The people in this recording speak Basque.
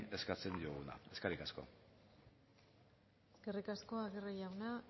eskatzen dioguna eskerrik asko eskerrik asko aguirre jauna